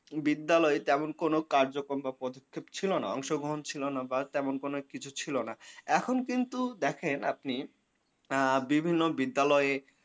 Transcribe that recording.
বিদ্যালয়ে তেমন কোনো কার্যক্রম বা পদক্ষেপ ছিলনা অংশগ্রহণ ছিলনা বা তেমন কোনো কিছু ছিলনা। এখন কিন্তু দেখেন আপনি আ বিভিন্ন বিদ্যালয়ে